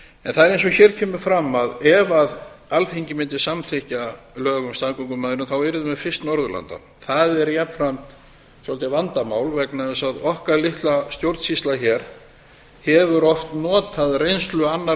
en það er eins og hér kemur fram að ef alþingi mundi samþykkja lög um staðgöngumæðrun þá yrðum við fyrst norðurlanda það er jafnframt svolítið vandamál vegna þess að okkar litla stjórnsýsla hefur oft notað reynslu annarra